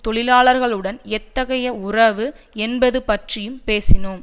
தொழிலாளர்களுடன் எத்தகைய உறவு என்பது பற்றியும் பேசினோம்